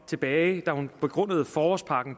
da hun begrundede forårspakke